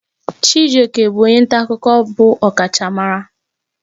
Chijioke bụ onye nta akụkọ bụ ọkachamara